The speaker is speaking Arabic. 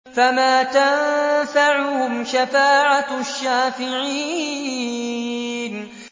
فَمَا تَنفَعُهُمْ شَفَاعَةُ الشَّافِعِينَ